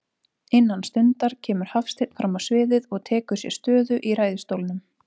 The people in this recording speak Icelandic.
Innan stundar kemur Hafsteinn frammá sviðið og tekur sér stöðu í ræðustólnum.